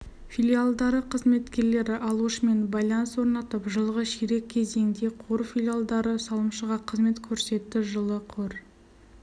филиалдары қызметкерлері алушымен байланыс орнатып жылғы ширек кезеңде қор филиалдары салымшыға қызмет көрсетті жылы қор